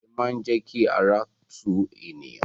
Abẹ̀bẹ̀ máa n jẹ kí ara tu eniyan.